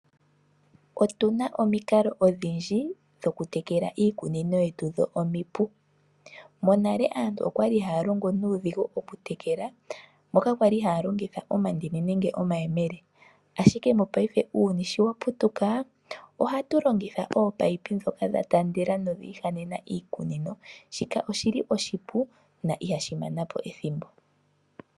Opuna omikalo odhindji omipu dhokutekela iikunino. Monale aantu oyali haya longo nuudhigu oshoka oyali haya longitha omandini nenge omayemele. Monena uuyuni sho wa putuka aantu ohaya longitha ominino ndhoka dha taandela dhiihanena iikunino. Shika oshipu na ihashi mana po ethimbo.